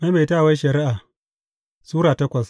Maimaitawar Shari’a Sura takwas